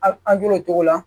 A an hakili la